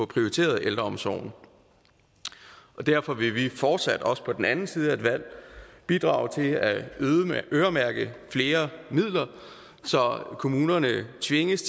prioriteret ældreomsorgen derfor vil vi fortsat også på den anden side af et valg bidrage til at øremærke flere midler så kommunerne tvinges